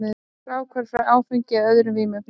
Fráhvarf frá áfengi eða öðrum vímuefnum.